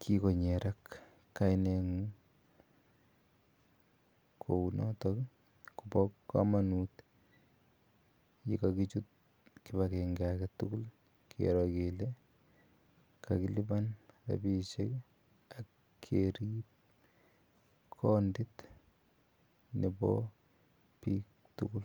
kikonyerak kaineng'ung'. Kou notok ko pa kamaut ye kakichut kip agenge age tugul kero kele kakilipan rapishek ak kerip kandit nepo piik tugul.